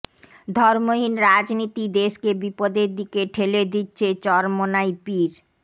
ধর্মহীন রাজনীতি দেশকে বিপদের দিকে ঠেলে দিচ্ছে চরমোনাই পীর